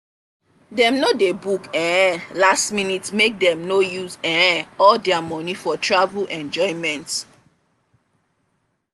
dem no dey book um last-minute make dem no use um all their money for travel enjoyment.